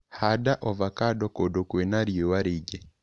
Handa ovacando kũndũ kwĩna riũa rĩingĩ.